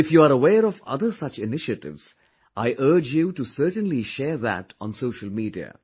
If you are aware of other such initiatives, I urge you to certainly share that on social media